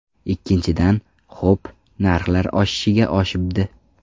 Ikkinchidan, ho‘p, narxlar oshishga oshibdi.